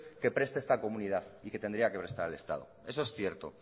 que preste esta comunidad y que tendría que prestar el estado eso es cierto